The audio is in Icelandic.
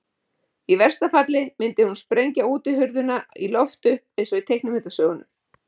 Í versta falli myndi hún sprengja útihurðina í loft upp eins og í teiknimyndasögunum.